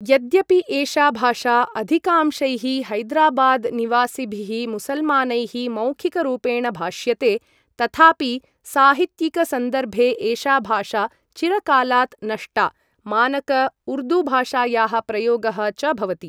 यद्यपि एषा भाषा अधिकांशैः हैदराबाद् निवासिभिः मुसलमानैः मौखिकरूपेण भाष्यते तथापि साहित्यिक सन्दर्भे एषा भाषा चिरकालात् नष्टा, मानक उर्दू भाषायाः प्रयोगः च भवति।